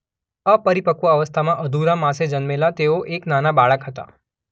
અપરિપક્વ અવસ્થામાં અધૂરા માસે જન્મેલા તેઓ એક નાના બાળક હતા.